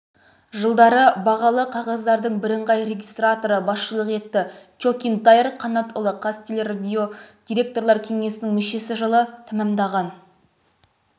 жылдары бағалы қағаздардың бірыңғай регистраторы басшылық етті чокин таир қанатұлы қазтелерадио директорлар кеңесінің мүшесі жылы тәмамдаған